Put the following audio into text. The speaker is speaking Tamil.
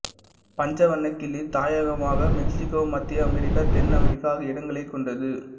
பஞ்ச வண்ணக்கிளி தாயகமாக மெக்சிக்கோ மத்திய அமெரிக்கா தென் அமெரிக்கா ஆகிய இடங்களைக் கொண்டது